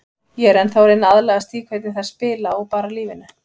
Ég er ennþá að reyna að aðlagast því hvernig þær spila og bara lífinu.